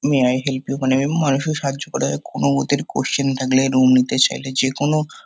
May I help you মানে মানুষের সাহায্য করা কোনো ওদের কোয়েশ্চেন থাকলে রুম নিতে চাইলে যেকোনো --